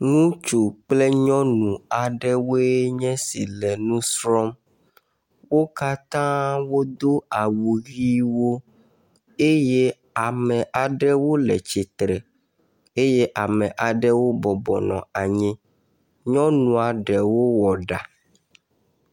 Ŋutsu kple nyɔnu aɖewoe nye esi le nu srɔ̃m. wo katã wodo awu ʋewo eye ame aɖewo le tsitre eye ame aɖewo bɔbɔ nɔ anyi. Nyɔnua ɖewo wɔ ɖa.